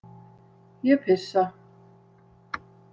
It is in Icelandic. Ég pissa.